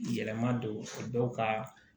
Yɛlɛma don dɔw ka